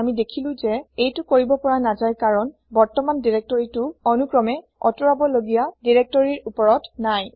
আমি দেখিলো যে এইটো কৰিব পৰা নাযায় কাৰণ বৰ্তমান দিৰেক্তৰিটো অনুক্ৰমে আতৰাবলগিয়া দিৰেক্তৰিৰ ওপৰত নাই